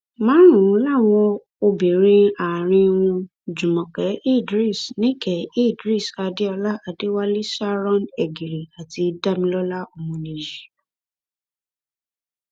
márùnún làwọn obìnrin àárín wọn jùmọkẹ idris nike idris adéọlá adéwálé sharon egiri àti damilọla ọmọnìyí